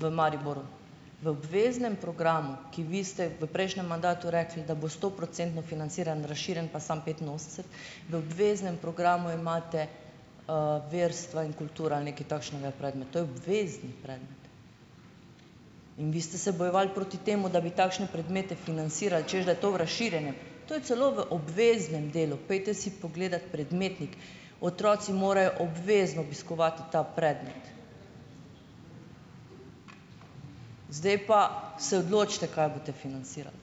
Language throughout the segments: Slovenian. v Mariboru. V obveznem programu, ki vi ste v prejšnjem mandatu rekli, da bo stoprocentno financiran, razširjen pa samo petinosemdeset, v obveznem programu imate, verstva in kultura. Ali nekaj takšnega je predmet. To je obvezni predmet. In vi ste se bojevali proti temu, da bi takšne predmete financirali, češ da je to v razširjenem. To je celo v obveznem delu. Pojdite si pogledati predmetnik. Otroci morajo obvezno obiskovati ta predmet. Zdaj pa se odločite, kaj boste financirali.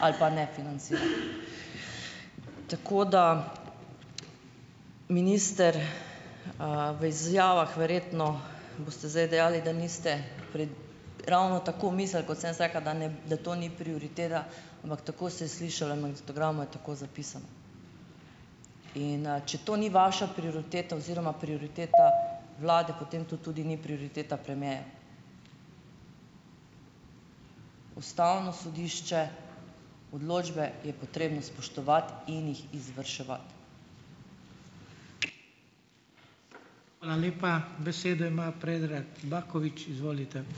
Ali pa ne financirali. Tako da ... Minister, v izjavah verjetno boste zdaj dejali, da niste, pred ravno tako mislili, kot sem jaz rekla, da ne, da to ni prioriteta, ampak tako se je slišalo in magnetogramu je tako zapisano. In, če to ni vaša prioriteta oziroma prioriteta vlade, potem to tudi ni prioriteta premierja. Ustavno sodišče, odločbe je potrebno spoštovati in jih izvrševati.